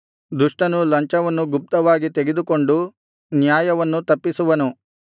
ದುಷ್ಟನು ಲಂಚವನ್ನು ಗುಪ್ತವಾಗಿ ತೆಗೆದುಕೊಂಡು ನ್ಯಾಯವನ್ನು ತಪ್ಪಿಸುವನು